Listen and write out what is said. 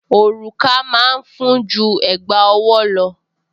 Òrùka máa ń fún ju Ẹ̀gbá ọwọ́ lọ